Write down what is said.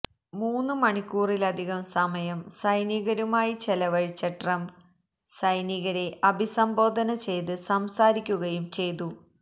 മൂന്ന് മണിക്കൂറിലധികം സമയം സൈനികരുമായി ചെലവഴിച്ച ട്രംപ് സൈനികരെ അഭിസംബോധന ചെയ്ത് സംസാരിക്കുകയും ചെയ്തു